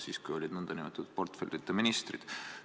Siis olid ka nn portfellita ministrid.